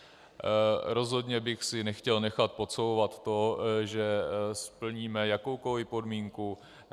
Rozhodně bych si nechtěl nechat podsouvat to, že splníme jakoukoli podmínku.